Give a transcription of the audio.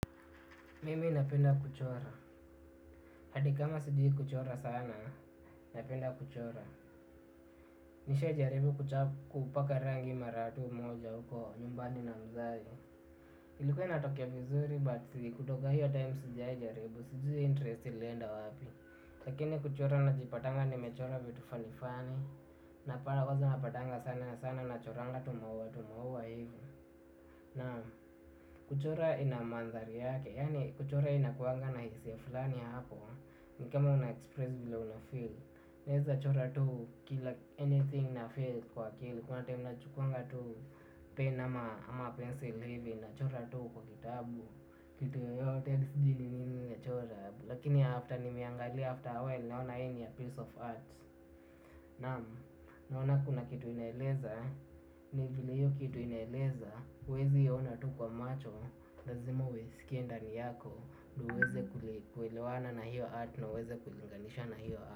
Mimi napenda kuchora, hadi kama sijui kuchora sana, napenda kuchora. Nishajaribu kupaka rangi mara tu moja huko nyumbani na mzazi. Ilikuwe inatokea vizuri but kutoka hiyo time sijaijaribu, sijui interest ilienda wapi. Lakini kuchora najipatanga nimechora vitu funny funny. Napata kwanza napatanga sana sana nachoranga tumaua tumaua hivo na kuchora ina mandhari yake, yaani kuchora inakuwanga na hisia fulani hako. Ni kama una-express vile una-feel. Naweza chora tu kila anything na-feel kwa akili. Kuna time nachukuanga tu pen ama ama pencil hivi. Nachora tu kwa kitabu. Kitu yoyote sijui ni nini nachora. Lakini after nimeiangalia after a while naona hii ni a piece of art. Nam, naona kuna kitu inaeleza. Ni vile hiyo kitu inaeleza huwezi iona tu kwa macho. Lazima huisikie ndani yako huweze kuelewana na hiyo art na huweze kulinganisha na hiyo art.